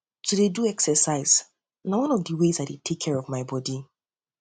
to dey do exercise na one of di ways i dey care for my bodi